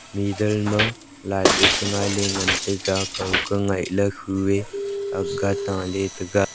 mider ma light eh chi ngaile ngantaga kauka ngaile khu eh akga taule taga.